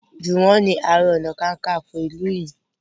Juwon ni aré ọnà kankanfo ilú yí.